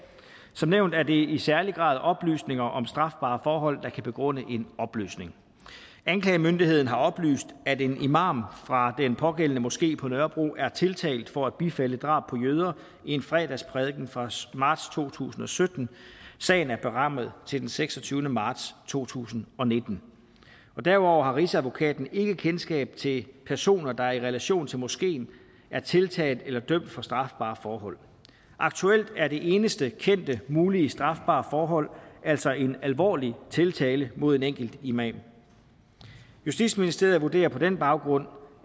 som nævnt er det i særlig grad oplysninger om strafbare forhold der kan begrunde en opløsning anklagemyndigheden har oplyst at en imam fra den pågældende moské på nørrebro er tiltalt for at bifalde drab på jøder i en fredagsprædiken fra marts to tusind og sytten sagen er berammet til den seksogtyvende marts to tusind og nitten derudover har rigsadvokaten ikke kendskab til personer der i relation til moskeen er tiltalt eller dømt for strafbare forhold aktuelt er det eneste kendte mulige strafbare forhold altså en alvorlig tiltale mod en enkelt imam justitsministeriet vurderer på den baggrund